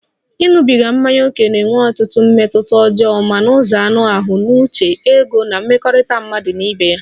Ịṅụbiga mmanya ókè ga-enwe ọtụtụ mmetụta ọjọọ ma n'ụzọ anụ ahụ, n'uche, ego na mmekọrịta mmadụ na ibe ya